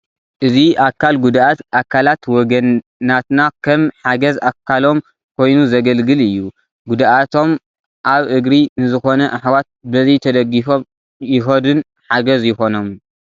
እዚ ኣካል ጉዱኣት ኣካላት ወገናትና ከም ሓገዝ ኣካሎም ኮይኑ ዘገልግል እዩ፡፡ ጉድኣቶም ኣብ እግሪ ንዝኾነ ኣሕዋት በዚ ተደጊፎም ይኸዱን ሓገዝ ይኾኖምን፡፡